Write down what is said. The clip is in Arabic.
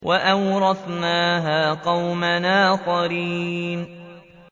كَذَٰلِكَ ۖ وَأَوْرَثْنَاهَا قَوْمًا آخَرِينَ